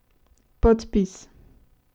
Podpis.